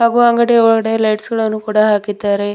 ವೊ ಅಂಗಡಿ ಒಳಗಡೆ ಲೈಟ್ಸ್ ಗಳನ್ನು ಕೂಡ ಹಾಕಿದ್ದಾರೆ.